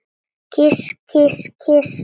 Kyss, kyss, kyss.